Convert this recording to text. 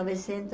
Novecentos